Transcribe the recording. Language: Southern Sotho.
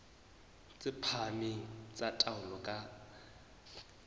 tse phahameng tsa taolo ka